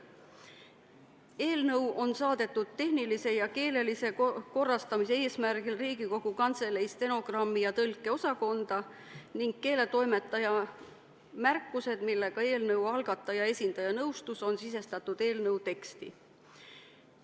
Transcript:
Eelnõu on saadetud tehnilise ja keelelise korrastamise eesmärgil Riigikogu Kantselei stenogrammi- ja tõlkeosakonda ning keeletoimetaja märkused, millega eelnõu algataja esindaja nõustus, on sisestatud eelnõu teksti.